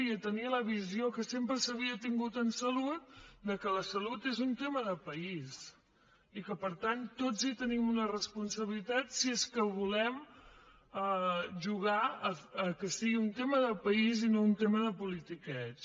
i a tenir la visió que sempre s’havia tingut en salut que la salut és un tema de país i que per tant tots hi tenim una responsabilitat si és que volem jugar al fet que sigui un tema de país i no un tema de politiqueig